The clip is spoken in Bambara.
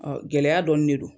Ɔn gɛlɛya dɔɔni de don.